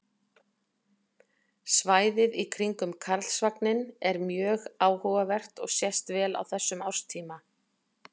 svæðið í kringum karlsvagninn er mjög áhugavert og sést vel á þessum árstíma